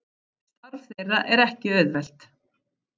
Starf þeirra er ekki auðvelt